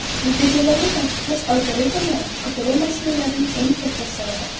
Natijalarni tartiblash algoritmlari qidiruv mashinalarining eng katta siridir.